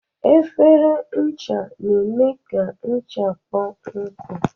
Efere ncha na-eme ka ncha kpọọ nkụ.